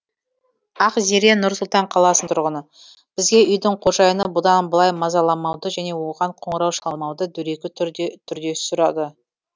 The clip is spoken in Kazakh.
ақзере нұр сұлтан қаласының тұрғыны бізге үйдің қожайыны бұдан былай мазаламауды және оған қоңырау шалмауды дөрекі түрде сұрады